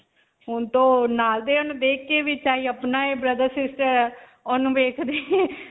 ਹੁਣ ਨਾਲ ਦੀਆਂ ਨੂੰ ਦੇਖ ਕੇ ਵੀ ਚਾਹੇ ਅਪਣਾ ਹੈ brother-sister ਉਨੂੰ ਵੇਖਦੇ ਹੀ.